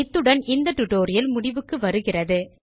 இத்துடன் இந்த டுடோரியல் முடிவுக்கு வருகிறது